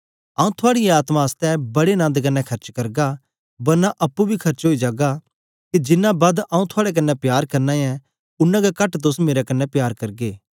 आंऊँ थुआड़ीयें आत्मा आसतै बड़े नन्द कन्ने खर्च करगा बरना अप्पुं बी खर्च ओई जागा के जिन्ना बद आंऊँ थुआड़े कन्ने प्यार करना ऐ उन्ना गै कट तोस मेरे कन्ने प्यार करगे